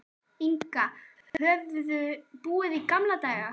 Inga höfðu búið í gamla daga.